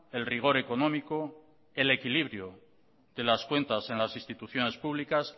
el rigor económico el equilibrio de las cuentas en las instituciones públicas